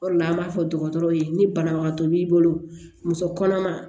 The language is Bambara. O de la an b'a fɔ dɔgɔtɔrɔw ye ni banabagatɔ b'i bolo muso kɔnɔma